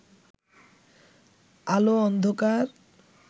আলো অন্ধকার